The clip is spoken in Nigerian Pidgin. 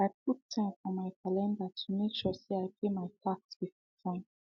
i put time for my calendar to make sure say i pay my tax before time